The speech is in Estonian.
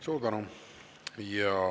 Suur tänu!